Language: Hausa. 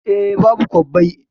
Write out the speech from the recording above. Eh, babu kwabbai